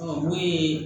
n'o ye